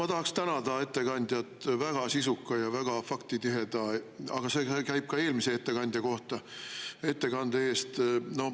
Ma tahaksin tänada ettekandjat väga sisuka ja faktitiheda, aga see käib ka eelmise ettekandja kohta, ettekande eest.